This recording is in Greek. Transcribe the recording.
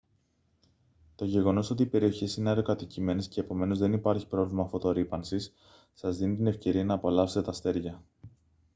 το γεγονός ότι οι περιοχές είναι αραιοκατοικημένες κι επομένως δεν υπάρχει πρόβλημα φωτορρύπανσης σας δίνει την ευκαιρία να απολαύσετε τα αστέρια